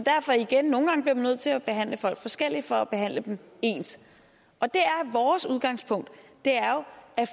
derfor igen nogle gange bliver man nødt til at behandle folk forskelligt for at behandle dem ens og det er vores udgangspunkt